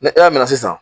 Ni e y'a minɛ sisan